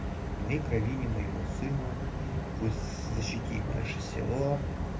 мои крови не моему сыну пусть защитит наше село